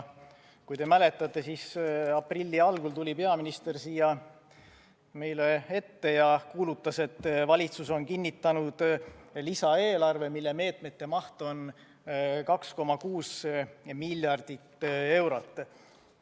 Kui te mäletate, siis aprilli algul tuli peaminister siia meie ette ja kuulutas, et valitsus on kinnitanud lisaeelarve, mille meetmete maht on 2,6 miljardit eurot.